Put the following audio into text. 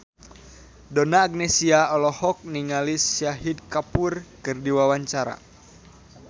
Donna Agnesia olohok ningali Shahid Kapoor keur diwawancara